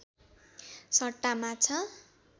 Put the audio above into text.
सट्टा माछा